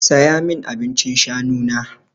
Saya min abincin shanu na!